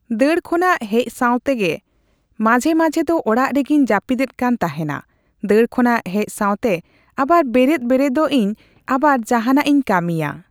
ᱫᱟᱹᱲ ᱠᱷᱚᱱᱟᱜ ᱦᱮᱡ ᱥᱟᱣᱛᱮᱜᱮ ᱢᱟᱡᱷᱮᱼᱢᱟᱷᱮ ᱫᱚ ᱚᱲᱟᱜ ᱨᱮᱜᱮᱧ ᱡᱟᱹᱯᱤᱫ ᱮᱫ ᱠᱟᱱ ᱛᱮᱦᱮᱱᱟ ᱫᱟᱹᱲ ᱠᱷᱚᱱᱟᱜ ᱦᱮᱡ ᱥᱟᱣᱛᱮ ᱟᱵᱟᱨ ᱵᱮᱨᱮᱫ ᱵᱮᱨᱮᱫᱚᱜᱼᱤᱧ ᱟᱵᱟᱨ ᱡᱟᱦᱟᱱᱟᱜ ᱤᱧ ᱠᱟᱹᱢᱤᱭᱟ